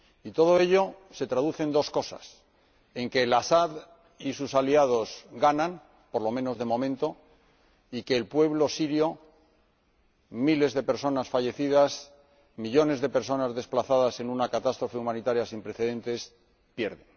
Y todo ello se traduce en dos cosas en que El Asad y sus aliados ganan —por lo menos de momento— y en que el pueblo sirio —miles de personas fallecidas, millones de personas desplazadas en una catástrofe humanitaria sin precedentes— pierde.